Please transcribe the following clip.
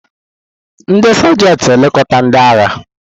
Ndị Sajanti na-elekọta ndị agha.